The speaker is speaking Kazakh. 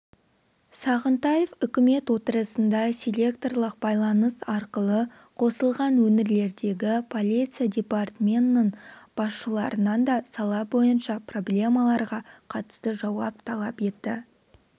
сағынтаев үкімет отырысына селекторлық байланыс арқылы қосылған өңірлердегі полиция департментінің басшыларынан да сала бойынша проблемаларға қатысты жауап талап етті